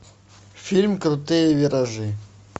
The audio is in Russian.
фильм крутые виражи